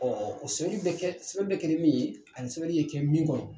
Ɔ o sɛbɛli be kɛ sɛbɛli be kɛ ni min ye ani sɛbɛli ye kɛ min kɔnɔ